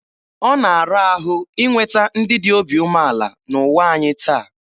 Ọ na-ara ahụ inweta ndị dị obi umeala n'ụwa anyị taa.